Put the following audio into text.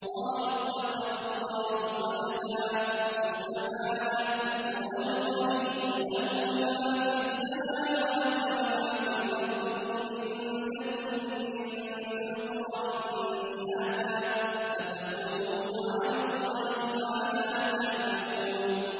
قَالُوا اتَّخَذَ اللَّهُ وَلَدًا ۗ سُبْحَانَهُ ۖ هُوَ الْغَنِيُّ ۖ لَهُ مَا فِي السَّمَاوَاتِ وَمَا فِي الْأَرْضِ ۚ إِنْ عِندَكُم مِّن سُلْطَانٍ بِهَٰذَا ۚ أَتَقُولُونَ عَلَى اللَّهِ مَا لَا تَعْلَمُونَ